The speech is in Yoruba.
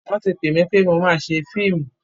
Wọ́n ti pè mi pé mo máa ṣe fíìmù.